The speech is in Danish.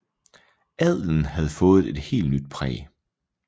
Adelen havde fået et helt nyt præg